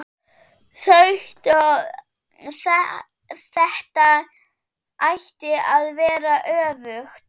Þetta ætti að vera öfugt.